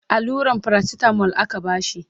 alluran paracetamol aka bashi